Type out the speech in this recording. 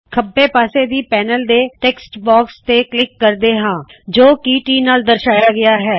ਖੱਬੇ ਪਾੱਸੇ ਦੀ ਪੈਨਲ ਵਿੱਚ ਟੈੱਕਸਟ ਬਾਕਸ ਤੇ ਕਲਿੱਕ ਕਰਦੇ ਹਾੰ ਜੋ ਕਿ T ਨਾਲ਼ ਦਰਸ਼ਾਇਆ ਗਇਆ ਹੈ